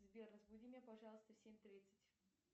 сбер разбуди меня пожалуйста в семь тридцать